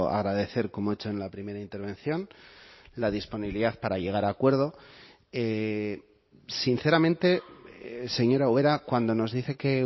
agradecer como he hecho en la primera intervención la disponibilidad para llegar a acuerdo sinceramente señora ubera cuando nos dice que